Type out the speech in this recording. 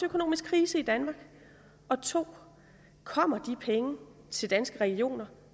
økonomisk krise i danmark 2 kommer de penge til danske regioner